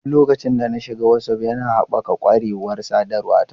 Tun lokacin da na shiga Whatsapp, yana haɓaka ƙwarewar sadarwa ta.